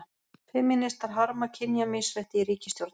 Femínistar harma kynjamisrétti í ríkisstjórn